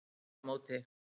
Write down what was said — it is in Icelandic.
Veðramóti